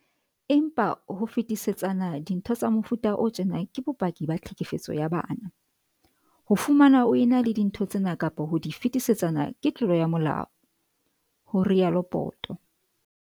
"Empa, ho fetisetsana dintho tsa mefuta o tjena ke bopaki ba tlhekefetso ya bana. Ho fumanwa o ena le dintho tsena kapa ho di fetisetsana ke tlolo ya molao," ho rialo Poto.